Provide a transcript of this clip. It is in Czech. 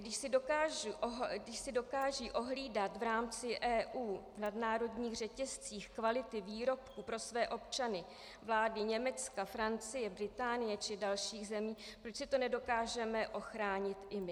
Když si dokážou ohlídat v rámci EU v nadnárodních řetězcích kvalitu výrobků pro své občany vlády Německa, Francie, Británie či dalších zemí, proč si to nedokážeme ochránit i my?